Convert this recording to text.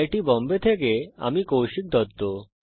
II T Bombay থেকে আমি কৌশিক দত্ত